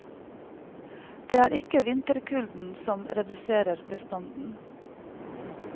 Det er ikke vinterkulden som reduserer bestanden.